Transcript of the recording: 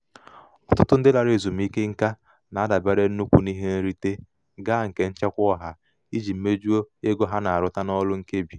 ọtụtụ ndị larala ezumike nka na-adabere nnukwu n'ihe nrite ga nke nchekwa ọha iji mejuo ego ego ha na-arụta n'ọrụ nkebi.